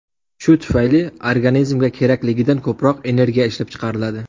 Shu tufayli organizmga kerakligidan ko‘proq energiya ishlab chiqariladi.